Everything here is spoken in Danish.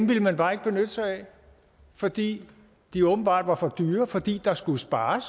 ville man bare ikke benytte sig af fordi de åbenbart var for dyre fordi der skulle spares